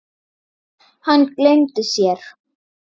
Hann gleymdi sér.